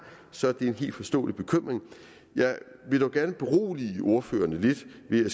så er det en helt forståelig bekymring jeg vil dog gerne berolige ordførerne lidt ved at